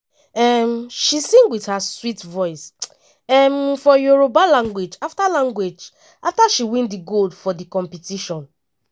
um she sing wit her sweet voice um for yoruba language afta language afta she win di gold for di competition.